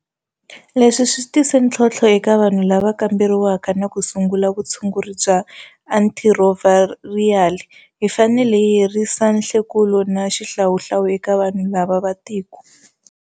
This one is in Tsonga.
Leswi swi tise ntlhontlho eka vanhu lava kamberiwaka na ku sungula vutshunguri bya antirhithirovhayirali. Hi fanele hi herisa nhlekulo na xihlawuhlawu eka vanhu lava va tiko.